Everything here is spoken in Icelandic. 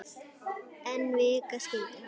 En vika skildi að.